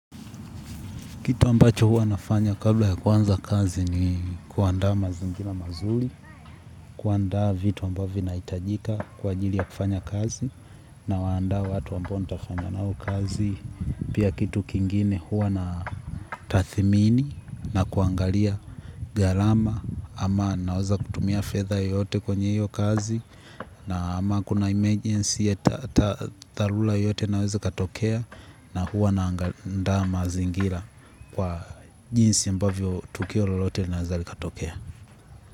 Kitu ambacho hua nafanya kabla ya kuanza kazi ni kuandaa mazingira mazuli, kuandaa vitu ambavyo inaitajika kwa ajili ya kufanya kazi nawaandaa watu ambao nitafanya nao kazi. Pia kitu kingine hua natathimini na kuangalia galama ama naoza kutumia fedha yote kwenye hiyo kazi ama kuna emergency ya thalula yote naweza katokea na hua naandaa mazingira. Kwa jinsi ambavyo tukio lolote naeza likatokea.